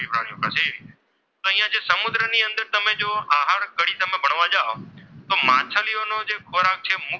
ને અહીંયા સમુદ્રની અંદર જુઓ તમે અને આહાર કડી બનવા જાઓ તો અહીંયા માછલીઓનો જે ખોરાક છે મુખ્ય,